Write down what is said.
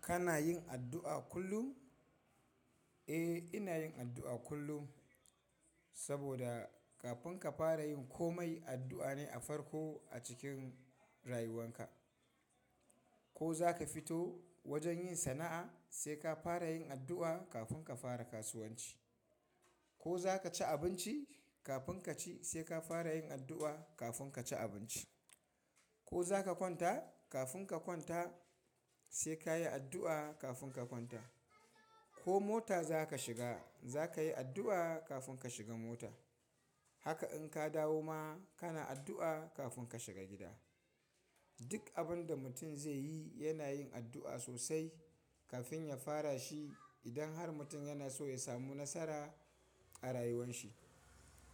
Kana yin addu'a kullum? Eh, ina yin addu'a kullum saboda kafin ka fara yin komai addu'a ne a farko a cikin rayuwarka. Ko za ka fito wajen yin sana'a sai ka fara yin addu'a kafin ka fara kasuwanci. Ko za ka ci abinci kafin ka ci sai ka fara yin addu'a kafin ka ci abinci. Ko za ka kwanta kafin ka kwanta sai ka yi addu'a kafin ka kwanta. Ko mota za ka shiga za ka yi addu'a kafin ka shiga mota. Haka in ka dawo ma kana addu'a kafin ka shiga gida. Duk abin da mutum zai yi yana yin addu'a sosai kafin ya fara shi. Idan har mutum yana so ya samu nasara a rayuwan shi,